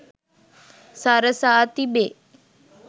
සරසා තිබේ.